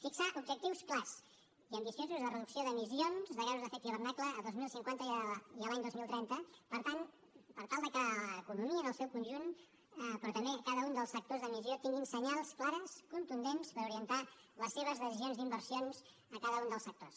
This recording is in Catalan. fixar objectius clars i ambiciosos de reducció d’emissions de gasos d’efecte hivernacle el dos mil cinquanta i l’any dos mil trenta per tal de que l’economia en el seu conjunt però també cada un dels sectors d’emissió tingui senyals clars contundents per orientar les seves decisions d’inversions a cada un dels sectors